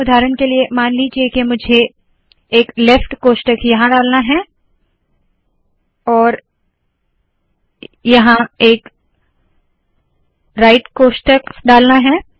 उदाहरण के लिए मान लीजिए मुझे एक लेफ्ट कोष्ठक यहाँ डालना है और यहाँ एक राइट कोष्ठक डालना है